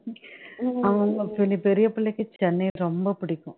அவங்க பெரிபெரிய பிள்ளைக்கு சென்னை ரொம்ப பிடிக்கும்